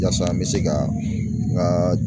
Yasa an bɛ se ka n ka